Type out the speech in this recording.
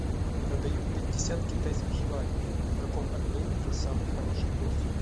продаю пятьдесят китайских юаней в каком обменнике самый хороший курс